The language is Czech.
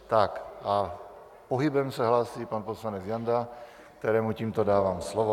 Tak, a pohybem se hlásí pan poslanec Janda, kterému tímto dávám slovo.